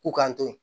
K'u k'an to yen